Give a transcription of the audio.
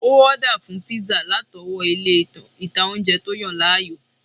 Ó ọ́dà fún píísà látọwọ́ ilé ìtanjẹ́ tó yàn láàyò